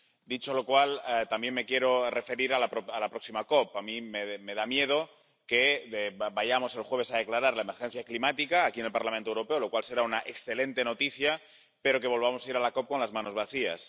Dicho lo cual, también me quiero referir a la próxima COP. A mí me da miedo que vayamos el jueves a declarar la emergencia climática aquí en el Parlamento Europeo —lo cual será una excelente noticia—, pero que volvamos a ir a la COP con las manos vacías.